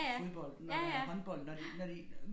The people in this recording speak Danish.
Fodbold når der er håndbold når de når de